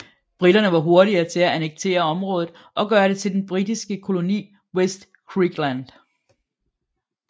Briterne var hurtige til at annektere området og gøre det til den britiske koloni Vest Griqualand